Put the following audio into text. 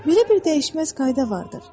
Belə bir dəyişməz qayda vardır.